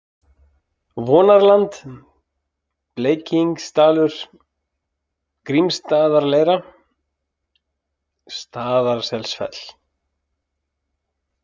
Vonarland, Bleikingsdalur, Grímsstaðaleira, Staðarselsfell